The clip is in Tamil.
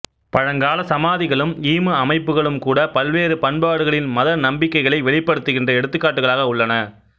பழங்காலச் சமாதிகளும் ஈம அமைப்புக்களும்கூடப் பல்வேறு பண்பாடுகளின் மத நம்பிக்கைகளை வெளிப்படுத்துகின்ற எடுத்துக்காட்டுகளாக உள்ளன